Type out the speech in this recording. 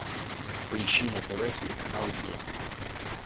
поищи на тв телеканал е